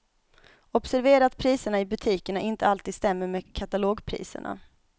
Observera att priserna i butikerna inte alltid stämmer med katalogpriserna.